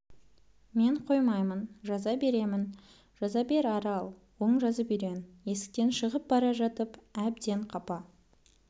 мен қоймаймын жаза беремін жаза бер арал оң жазып үйрен есіктен шығып бара жатып әбден қапа